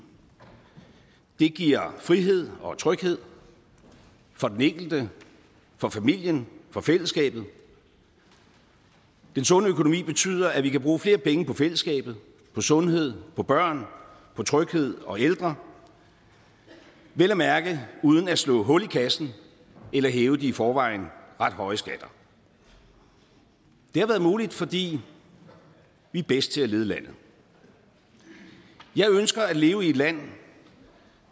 det giver frihed og tryghed for den enkelte for familien for fællesskabet den sunde økonomi betyder at vi kan bruge flere penge på fællesskabet på sundhed på børn på tryghed og ældre vel at mærke uden at slå hul i kassen eller hæve de i forvejen ret høje skatter det har været muligt fordi vi er bedst til at lede landet jeg ønsker at leve i et land